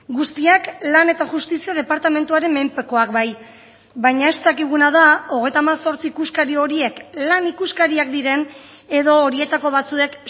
guztiak lan eta justizia departamentuaren menpekoak bai baina ez dakiguna da hogeita hemezortzi ikuskari horiek lan ikuskariak diren edo horietako batzuek